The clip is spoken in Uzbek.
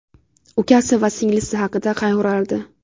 Ukasi va singlisi haqida qayg‘urardi.